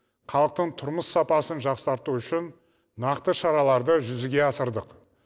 халықтың тұрмыс сапасын жақсарту үшін нақты шараларды жүзеге асырдық